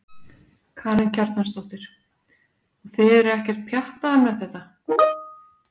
Karen Kjartansdóttir: Og þið eruð ekkert pjattaðar með þetta?